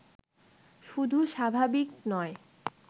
শুধু স্বাভাবিক নয়